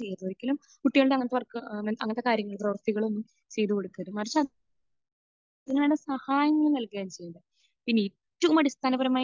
ചെയ്യരുത്. ഒരിക്കലും കുട്ടികളുടെ അങ്ങനത്തെ വർക്ക് അങ്ങനത്തെ കാര്യങ്ങൾ പ്രവർത്തികളൊന്നും ചെയ്ത് കൊടുക്കരുത്. മറിച്ച് അതിന് വേണ്ട സഹായങ്ങൾ നൽകുകയാണ് ചെയ്യേണ്ടത്. പിന്നെ ഏറ്റവും അടിസ്ഥാനപരമായ